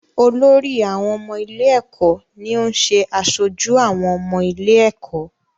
Olórí àwọn ọmọ ilé-ẹ̀kọ́ ni ó ń ṣe aṣojú àwọn ọmọ ilé-ẹ̀kọ́.